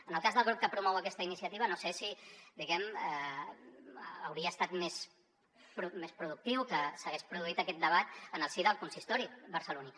en el cas del grup que promou aquesta iniciativa no sé si hauria estat més productiu que s’hagués produït aquest debat en el si del consistori barceloní